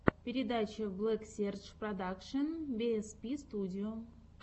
передача блэксерж продакшен биэспи студио